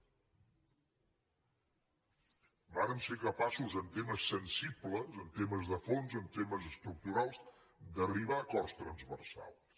vàrem ser capaços en temes sensibles en temes de fons en temes estructurals d’arribar a acords transversals